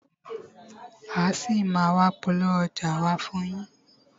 A ṣì máa a wá polówó ọjà wa fún yín.